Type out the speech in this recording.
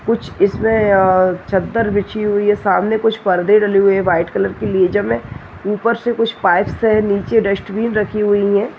कुछ इसमें चदर बिछी हुई है सामने कुछ परदे डाले हुए है व्हाइट कलर की लेजर है ऊपर से कुछ पाइप्स है नीचे डस्टबीन रखी हुई हैं।